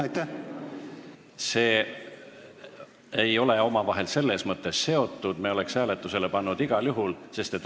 Need asjad ei ole omavahel selles mõttes seotud, et ma oleks eelnõu hääletusele pannud igal juhul.